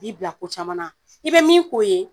k'i bila ko caman na i be min k'o ye